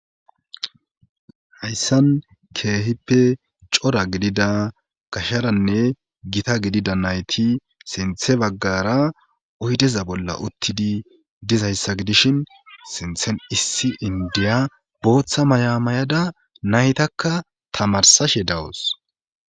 hayssan keehippe cora gidida gasharanne gita gidida nayti sinthe baggara oydeza bolla uttidi dizayssa gidishin sinthen issi indiya booththa mayamayada naytakka tamarsashe dawus